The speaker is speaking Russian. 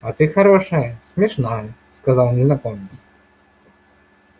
а ты хорошая смешная сказал незнакомец